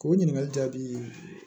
K'o ɲininkali jaabi ye